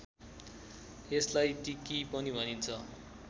यसलाई टिकी पनि भनिन्छ